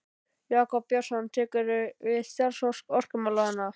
Jakob Björnsson tekur við starfi orkumálastjóra.